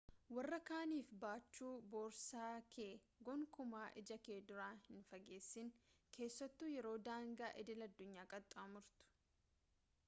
warra kaaniif baachuu boorsaa kee gonkumaa ija kee duura hin fageessin keessattuu yeroo daangaa idil-addunyaa qaxxaamurtu